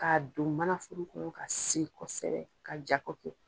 Kaa don manaforo kɔnɔ ka siri kosɛbɛ ka ja koki